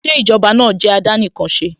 Ṣé Ìjọba náà jẹ́ àdánìkanṣeni?